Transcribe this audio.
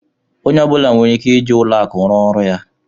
Onye ọ bụla nwere ike ịji ụlọ akụ rụ ọrụ ya